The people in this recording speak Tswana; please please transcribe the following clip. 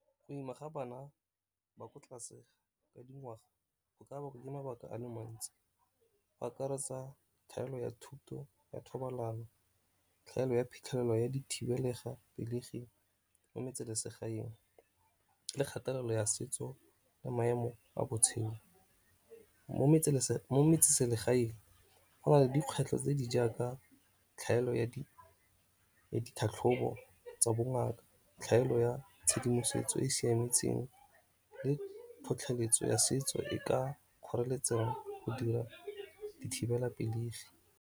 Go ima ga bana ba ko tlase ga dingwaga go ka bakwa ke mabaka a le mantsi ba akaretsa tlhaelo ya thuto ya thobalano, tlhaelo ya phitlhelelo ya di thibelega pelegi mo metseselegaeng, le kgathelelo ya setso le maemo a botshelo. Mo metseselegaeng go na le dikgwetlho tse di jaaka tlhaelo ya ditlhatlhobo tsa bongaka, tlhaelo ya tshedimosetso e e siametseng, le tlhotlheletso ya setso e ka kgoreletsang go dira dithibelapelegi.